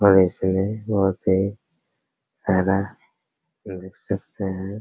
और ऐसे में बहुत ही सारा देख सकते हैं।